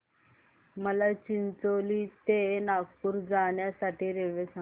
मला चिचोली ते नागपूर जाण्या साठी रेल्वे सांगा